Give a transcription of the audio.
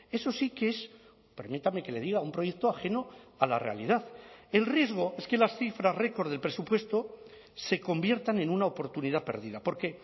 eso sí que es permítame que le diga un proyecto ajeno a la realidad el riesgo es que las cifras récord del presupuesto se conviertan en una oportunidad perdida porque